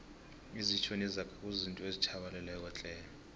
izitjho nezaga kuzizinto ezitjhabalalako tle